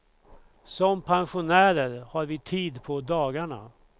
Som pensionärer har vi tid på dagarna.